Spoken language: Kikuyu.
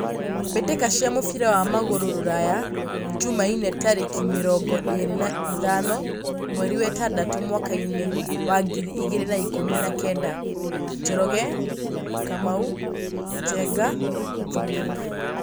Mbĩtĩka cia mũbira wa magũrũ Ruraya Jumaine tarĩki mĩrongo ĩrĩ na ithano mweri wetandatũ mwakainĩ wa ngiri igĩrĩ na ikũmi na kenda :Njoroge, Kamau, Njenga, Thuo.